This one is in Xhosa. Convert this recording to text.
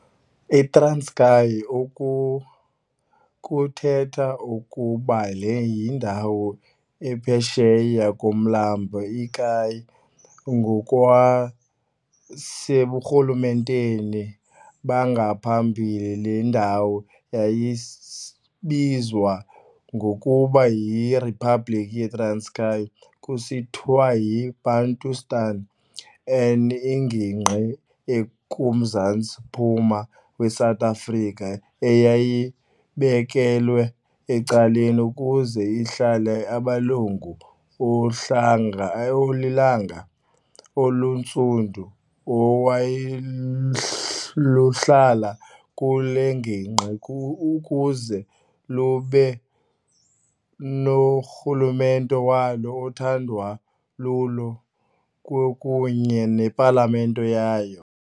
I-Transkei, oku kuthetha okokuba le yindawo ephesheya komlambo i-Kei, ngokwaseburhulumenteni bangaphambili le ndawo yayibizwa ngokuba yi-Riphabliki yeTranskei, kusithiwa yi-Bantustan - an, ingingqi ekuMzantsiMmpuma weSouth Afrika eyayibekelwe ecaleni ukuze ihlale amalungu ohlanga olilanga, oluntsundu, olwaluhlala kule ngingqi ukuze lube norhulumente walo othandwa lulo kwakunye nepalamente yayo.